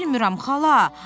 Bilmirəm, xala.